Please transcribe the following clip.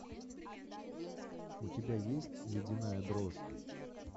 у тебя есть ледяная дрожь